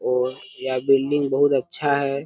और यहा बिल्डिंग बहुत अच्छा हैं।